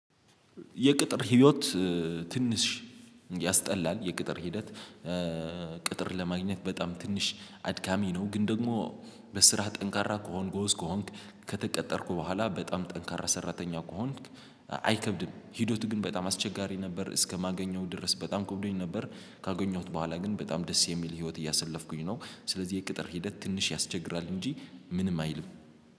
የቅጥር ህይወት ትንሽ ያስጠላል የቅጥር ሂደት ቅጥር ለማግኘት በጣም ትንሽ አድካሚ ነው። ግን ደግሞ በስራ ጠንካራ ከሆንክ ጎበዝ ከሆንክ ከተቀጠርክ በኋላ በጣም ጠንካራ ሰራተኛ ከሆንክ አይከብድም። ሄደቱ ግን በጣም አስቸጋሪ ነበር እስከማገኘው ድረስ በጣም ከብዶኝ ነበር። ካገኘሁት በኋላ ግን በጣም ደስ የሚል ህይወት እያሰለፍኩኝ ነው። ስለዚህ የቅጥር ሂደት ትንሽ ያስቸግራል እንጂ ምንም አይልም።